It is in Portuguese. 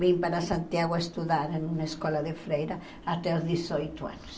Vim para Santiago estudar em uma escola de freira até os dezoito anos.